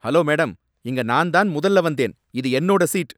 Hello madam! இங்க நான்தான் முதல்ல வந்தேன். இது என்னோட சீட்.